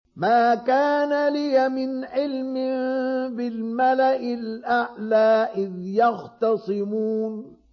مَا كَانَ لِيَ مِنْ عِلْمٍ بِالْمَلَإِ الْأَعْلَىٰ إِذْ يَخْتَصِمُونَ